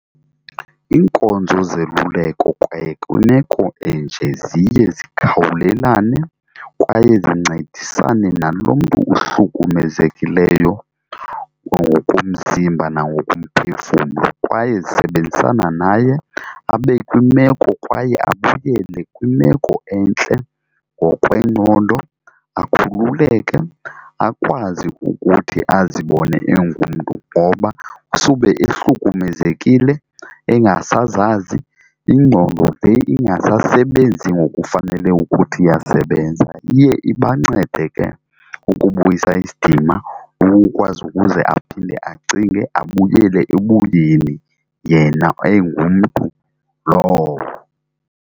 Iinkonzo zeluleko kwaye kwimeko enje ziye zikhawulelane kwaye zincedisane nalo mntu uhlukumezekileyo ngokomzimba nangokomphefumlo, kwaye zisebenzisana naye abe kwimeko kwaye abuyele kwimeko entle ngokwengqondo, akhululeke akwazi ukuthi azibone engumntu ngoba usube ehlukumezekile engasazazi ingqondo le ingasasebenzi ngokufanele ukuthi iyasebenza. Iye ibancede ke ukubuyisa isidima, ukukwazi ukuze aphinde acinge abuyele ebuyeni yena engumntu lowo.